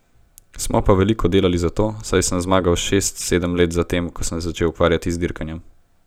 Smo pa veliko delali za to, saj sem zmagal šest, sedem let za tem, ko sem se začel ukvarjati z dirkanjem.